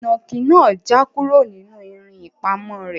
Inaki naa ja kuro ninu irin ipamo re